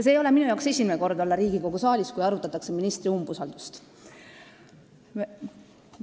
See ei ole mul esimene kord olla Riigikogu saalis, kui arutatakse ministri umbusaldamist.